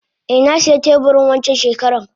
Eh nasiya teburi wancan shekaran.